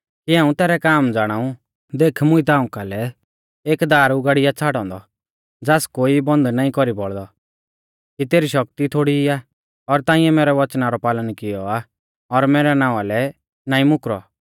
हाऊं तैरै काम ज़ाणाऊ देख मुंइऐ ताऊं कालै एक दार उगाड़ी आ छ़ाड़ौ औन्दौ ज़ास कोई बन्द नाईं कौरी बौल़दौ कि तेरी शक्ति थोड़ीई आ और ताइंऐ मैरौ वचना रौ पालन कियौ आ और मैरै नावां लै नाईं मुकरौ